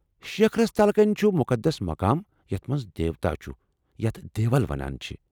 شِکھرس تلہٕ كٕنہِ چُھ مُقدس مقام یتھ منٛز دیوتا چُھ ، یتھ دیول ونان چھِ ۔